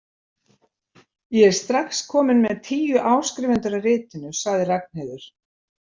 Ég er strax komin með tíu áskrifendur að ritinu, sagði Ragnheiður.